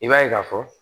I b'a ye k'a fɔ